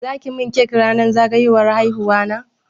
Za ki min cake ranar zagayowar haihuwana?